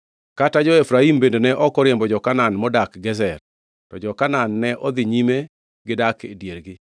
Kata jo-Efraim bende ne ok oriembo jo-Kanaan modak Gezer, to jo-Kanaan ne odhi nyime gidak e diergi.